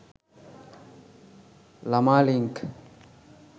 lamalink